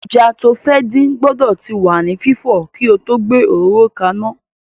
Ẹja tí o fẹ́ dín gbọ́dọ̀ ti wà ní fífọ̀ kí o tó gbé òróró ka iná.